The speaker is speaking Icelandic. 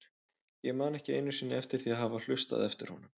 Ég man ekki einu sinni eftir því að hafa hlustað eftir honum.